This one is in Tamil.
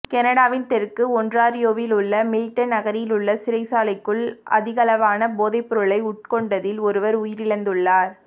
கனடாவின் தெற்கு ஒன்ராறியோவிலுள்ள மில்டன் நகரிலுள்ள சிறைச்சாலைக்குள் அதிகளவான போதைப்பொருளை உட்கொண்டதில் ஒருவர் உயிரிழந்துள்ளார்